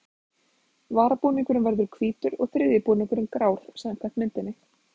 Varabúningurinn verður hvítur og þriðji búningurinn grár samkvæmt myndinni.